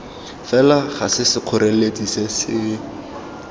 fela ga sekgoreletsi se se